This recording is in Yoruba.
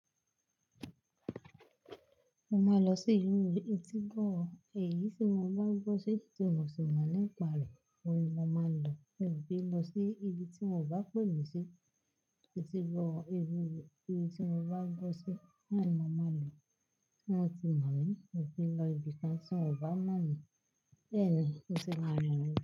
Mo máa lọ sí ilú etígbọ̀ọ́. Èyí tí mo bá gbọ́ sí tí mo sì mọ̀ nípa rẹ̀, oun ni mo máa ń lọ. Mi ò ki ń lọ sí ibi tí wọn bá pè mi sí. Etígbọ̀ọ́, èyí tí mo bá gbọ́ sí, na ni mo máa lọ. Wọn ti mọ̀ mí, mi ò kí ń lọ ibìkan tí wọ́n bá mọ̀ mí. Bẹ́ẹ̀ ni, ó ti máa ràn mí lọ.